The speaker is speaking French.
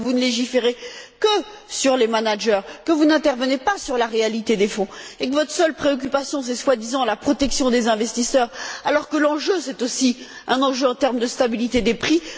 Mais vous ne légiférez que concernant les managers, vous n'intervenez pas sur la réalité des fonds, et votre seule préoccupation, ce serait la protection des investisseurs, alors que l'enjeu, c'est aussi un enjeu en termes de stabilité des prix.